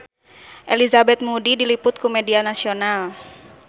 Elizabeth Moody diliput ku media nasional